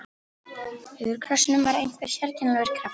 Yfir krossinum var einhver sérkennilegur kraftur.